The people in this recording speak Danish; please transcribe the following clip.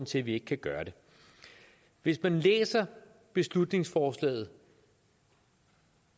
til at vi ikke kan gøre det hvis man læser beslutningsforslaget